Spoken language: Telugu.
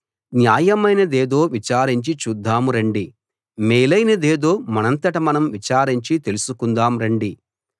న్యాయమైనదేదో విచారించి చూద్దాం రండి మేలైనదేదో మనంతట మనం విచారించి తెలుసుకుందాము రండి